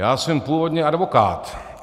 Já jsem původně advokát.